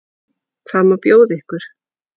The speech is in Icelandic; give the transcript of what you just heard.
Hvað má bjóða ykkur?